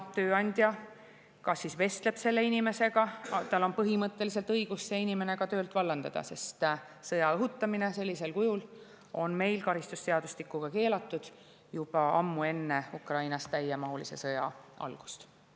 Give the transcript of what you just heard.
Tööandja siis vestleb selle inimesega ja põhimõtteliselt on tal õigus see inimene ka töölt vallandada, sest sõja õhutamine sellisel kujul on meil karistusseadustiku järgi keelatud juba ammu enne Ukraina täiemahulise sõja algust.